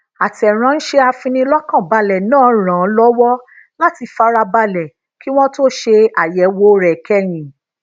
ateranse afinilokanbale naa ranan lowo lati farabale kí wón tó ṣe àyèwò rè kéyìn